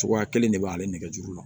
Cogoya kelen de b'ale nɛgɛjuru la